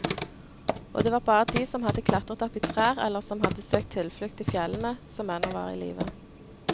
Og det var bare de som hadde klatret opp i trær eller som hadde søkt tilflukt i fjellene, som ennå var i live.